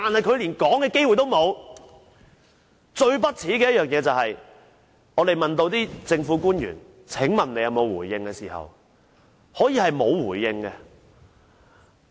最令人不齒的是，當我們詢問政府官員有否回應時，他們竟可以是沒有回應。